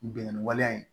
Bingani waleya in